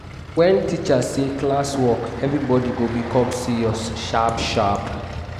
wen teacher say "classwork" everybody go become serious sharp sharp.